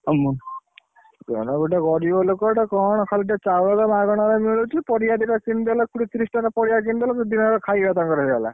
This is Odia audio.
ହୁଁ ଗୋଟେ ଗରିବ ଲୋକଟେ କଣ ଖାଲି ଟିକେ ଚାଉଳଟା ମାଗଣାରେ ମିଳୁଛି ପରିବା ଦିଟା କିଣି ଦେଲେ କୋଡିଏ ତିରିଶ ଟଙ୍କା ପରିବା କିଣିଦେଲେ ଖାଇଆ ତାଙ୍କର ହେଇଗଲା।